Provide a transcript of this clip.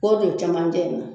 K'o don camancɛ in na